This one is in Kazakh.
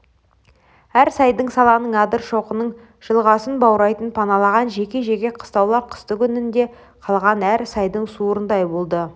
әр сайдың саланың адыр-шоқының жылғасын баурайын паналаған жеке-жеке қыстаулар қыстыгүні інде қалған әр сайдың суырындай болды